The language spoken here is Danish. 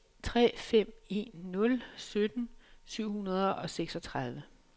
tre fem en nul sytten syv hundrede og seksogtredive